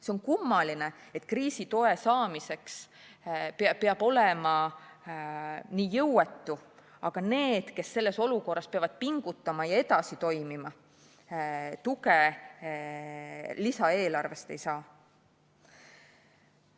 See on kummaline, et kriisitoe saamiseks peab olema nii jõuetu, aga need, kes selles olukorras peavad pingutama ja edasi toimima, tuge lisaeelarvest ei saa.